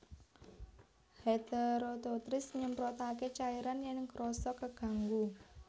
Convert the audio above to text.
Heteroteuthis nyemprotaké cairan yèn krasa keganggu